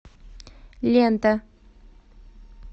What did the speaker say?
лента